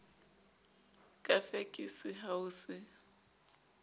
ka fekese ha ho se